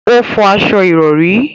O fọ aṣọ ìrọ̀rí